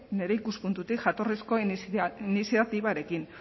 nire ikuspuntutik jatorrizko iniziatibarekin